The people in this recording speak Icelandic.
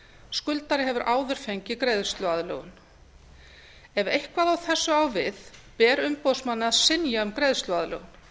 skuldari hefur áður fengið greiðsluaðlögun ef eitthvað af þessu á við ber umboðsmanni að synja um greiðsluaðlögun